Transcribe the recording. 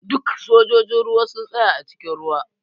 Duk sojojin ruwa su tsaya a cikin ruwa!